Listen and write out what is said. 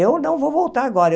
Eu não vou voltar agora.